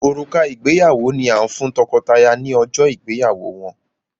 Òrùka ìgbéyàwó ni a n fún tọkọtaya ni ọjọ ìgbéyàwó wọn.